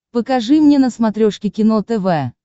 покажи мне на смотрешке кино тв